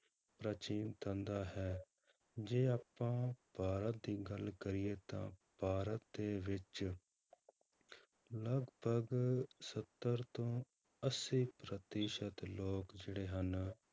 ਪ੍ਰਾਚੀਨ ਧੰਦਾ ਹੈ, ਜੇ ਆਪਾਂ ਭਾਰਤ ਦੀ ਗੱਲ ਕਰੀਏ ਤਾਂ ਭਾਰਤ ਦੇ ਵਿੱਚ ਲਗਪਗ ਸੱਤਰ ਤੋਂ ਅੱਸੀ ਪ੍ਰਤੀਸ਼ਤ ਲੋਕ ਜਿਹੜੇ ਹਨ